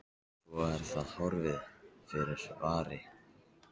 Svo er það horfið fyrr en varir.